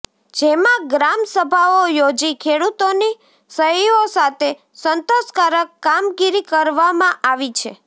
જેમાં ગ્રામસભાઓ યોજી ખેડૂતોની સહીઓ સાથે સંતોષકારક કામગીરી કરવમાં આવી છે